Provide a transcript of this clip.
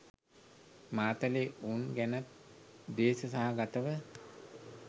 මාතලේ උන් ගැනත් ද්වේෂ සහගතව